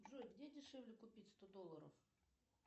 джой где дешевле купить сто долларов